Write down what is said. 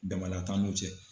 Damada t'an n'u cɛ.